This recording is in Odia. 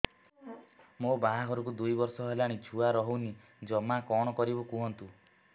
ମୋ ବାହାଘରକୁ ଦୁଇ ବର୍ଷ ହେଲାଣି ଛୁଆ ରହୁନି ଜମା କଣ କରିବୁ କୁହନ୍ତୁ